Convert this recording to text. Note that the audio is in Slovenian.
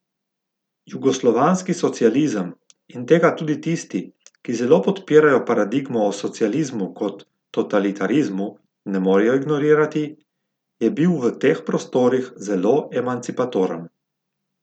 Jugoslovanski socializem, in tega tudi tisti, ki zelo podpirajo paradigmo o socializmu kot totalitarizmu, ne morejo ignorirati, je bil v teh prostorih zelo emancipatoren.